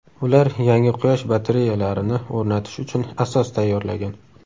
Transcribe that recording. Ular yangi quyosh batareyalarini o‘rnatish uchun asos tayyorlagan.